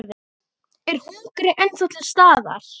Er hungrið áfram til staðar?